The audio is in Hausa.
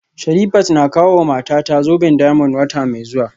Sherifat na kawowa matata zoben diamond wata mai zuwa